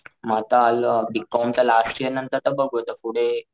मी आता आलं बीकॉम च लास्ट इयर नंतर बघू आता पुढे,